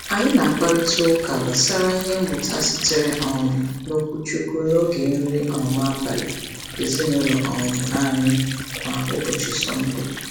Anyị na-akparịtaụka gbasara ihe mmụta sitere um n’okwuchukwu n’oge nri um abalị ezinaụlọ um anyị kwa ụbọchị Sọnde.